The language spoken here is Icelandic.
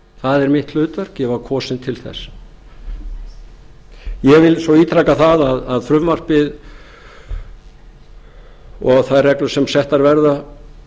það er mitt hlutverk ég var kosinn til þess ég vil svo ítreka það að frumvarpið og þær reglur sem settar verða